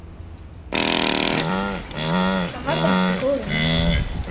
Þetta verður allt í góðu lagi, mamma.